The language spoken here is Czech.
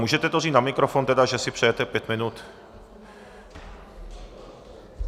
Můžete to říct na mikrofon tedy, že si přejete pět minut?